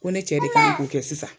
Ko ne cɛ de kan k'o kɛ sisan